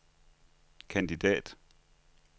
kandidat